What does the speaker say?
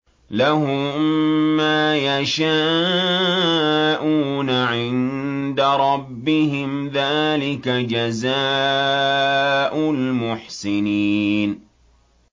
لَهُم مَّا يَشَاءُونَ عِندَ رَبِّهِمْ ۚ ذَٰلِكَ جَزَاءُ الْمُحْسِنِينَ